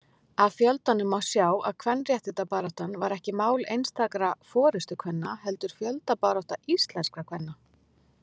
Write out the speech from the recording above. Af fjöldanum má sjá að kvenréttindabaráttan var ekki mál einstakra forystukvenna heldur fjöldabarátta íslenskra kvenna.